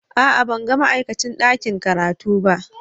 A'a, ban ga ma'aikacin ɗakin karatu ba.